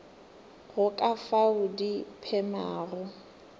go ka fao di phemago